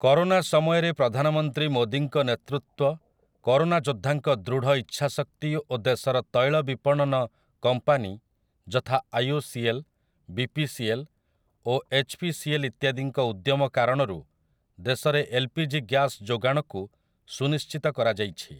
Corona ସମୟରେ ପ୍ରଧାନମନ୍ତ୍ରୀ ମୋଦିଙ୍କ ନେତୃତ୍ୱ, କରୋନା ଯୋଦ୍ଧାଙ୍କ ଦୃଢ଼ ଇଚ୍ଛା ଶକ୍ତି ଓ ଦେଶର ତୈଳ ବିପଣନ କମ୍ପାନୀ ଯଥା ଆଇଓସିଏଲ୍, ବିପିସିଏଲ୍ ଓ ଏଚ୍ ପି ସି ଏଲ୍ ଇତ୍ୟାଦିଙ୍କ ଉଦ୍ୟମ କାରଣରୁ ଦେଶରେ ଏଲ୍‌ପିଜି ଗ୍ୟାସ୍‌ ଯୋଗାଣକୁ ସୁନିଶ୍ଚିତ କରାଯାଇଛି ।